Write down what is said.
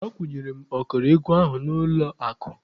Akwụnyere m ọkara ego ahụ n'ụlọ akụ.